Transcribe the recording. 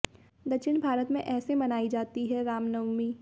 दक्षिण भारत में ऐसे मनाई जाती है राम नवमी